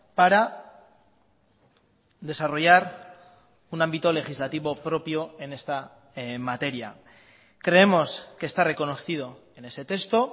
para desarrollar un ámbito legislativo propio en esta materia creemos que está reconocido en ese texto